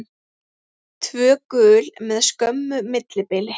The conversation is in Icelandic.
Tvö gul með skömmu millibili.